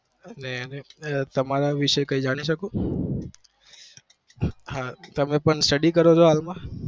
તમારા વિશે કઈ જાણી શકું હા તમે પણ study કરો છો હાલ માં